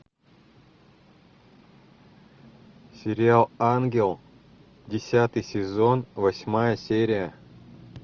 сериал ангел десятый сезон восьмая серия